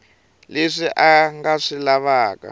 leswi a nga swi lavaka